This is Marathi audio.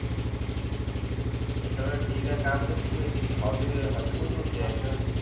मी सगळं ठीक आहे काय म्हणते तुझी हॉबी हॉबी कोणकोणती आहे?